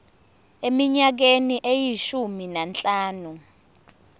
eminyakeni eyishumi nanhlanu